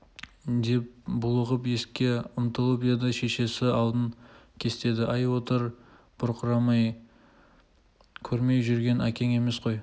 деп булығып есікке ұмтылып еді шешесі алдын кестеді әй отыр бұрқырамай көрмей жүрген әкең емес қой